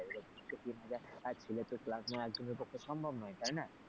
দূ থেকে তিন হাজার ছেলের তো class নেওয়া একজনের পক্ষে সম্ভব নয় তাই না,